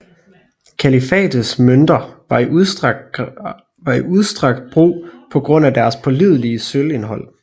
Kalifates mønter var i udstrakt brug på grund af deres pålidelige sølvindhold